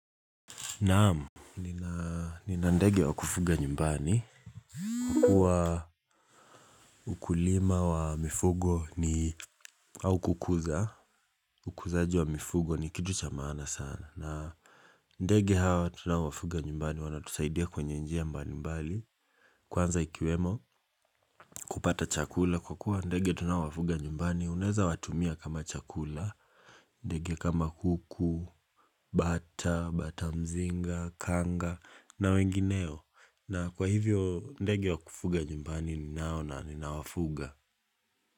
Naam, nina ndege wa kufuga nyumbani, kuwa mkulima wa mifugo ni au kukuza, ukuzaji wa mifugo ni kitu cha maana sana. Na ndege hawa tunaowafuga nyumbani, wanatusaidia kwenye njia mbali mbali, kwanza ikiwemo kupata chakula, kwa kuwa ndege tunaowafuga nyumbani, unaweza watumia kama chakula, ndege kama kuku, bata, bata mzinga, kanga, na wengineo. Na kwa hivyo ndege wa kufuga nyumbani ninao na ninawafuga.